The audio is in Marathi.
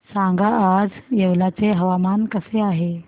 सांगा आज येवला चे हवामान कसे आहे